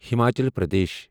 Himachal Pradesh